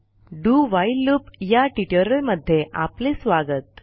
do while loop वरील ट्युटोरियलमध्ये आपले स्वागत